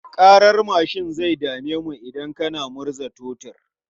Ƙarar mashin zai dame mu idan kana murza totur.